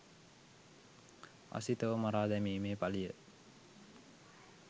අසිතව මරා දැමීමේ පලිය